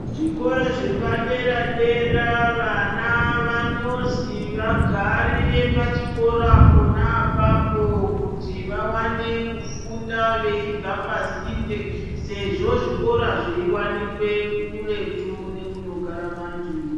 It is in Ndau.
Zvikoro zvepadera-dera vana vanozi vagarire pachikora pona apapo kuti vavane kufunda vachibva pasinde sezvo zvikora zveiwanikwe kuretu nekunogara vantu.